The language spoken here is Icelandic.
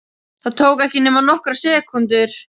Það tók ekki nema nokkrar sekúndur.